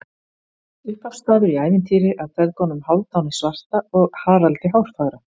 Upphafsstafur í ævintýri af feðgunum Hálfdani svarta og Haraldi hárfagra.